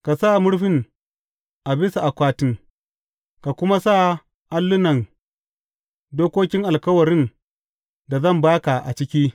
Ka sa murfin a bisa akwatin ka kuma sa allunan dokokin alkawarin da zan ba ka a ciki.